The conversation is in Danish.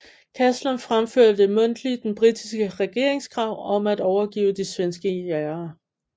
Caslon fremførte mundtligt den britiske regerings krav om at overgive de svenske jagere